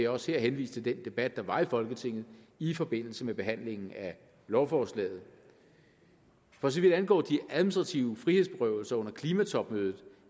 også her henvise til den debat der var i folketinget i forbindelse med behandlingen af lovforslaget for så vidt angår de administrative frihedsberøvelser under klimatopmødet